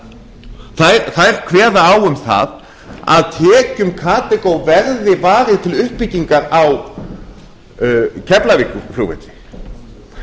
karþago þær kveða á um það að tekjum karþagó verði varið til uppbyggingar á keflavíkurflugvelli og